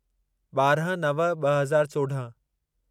ॿारहं नव ॿ हज़ार चोॾहं